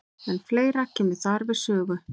En fleira kemur þar við sögu.